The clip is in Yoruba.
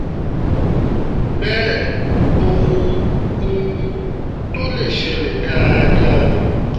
bẹ́ẹ̀ ohun um tó lè ṣẹlẹ̀ dáadáa ni